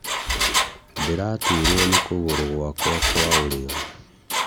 Ndĩraturwo nĩ kũgũru gwaka kwa ũrĩo.